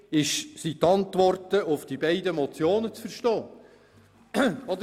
Die Antworten auf die beiden Motionen sind vor diesem Hintergrund zu verstehen.